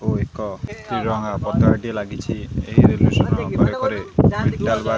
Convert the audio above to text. ଆଉ ଏକ ତ୍ରିରଙ୍ଗା ପତକା ଟିଏ ଲାଗିଚି ଏ ପାର୍କ ରେ।